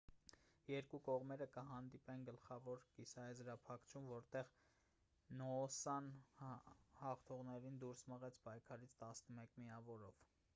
երկու կողմերը կհանդիպեն գլխավոր կիսաեզրափակչում որտեղ նոոսան հաղթողներին դուրս մղեց պայքարից 11 միավորով